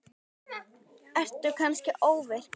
Ertu kannski ofvirk?